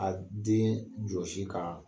A den jɔsi k'a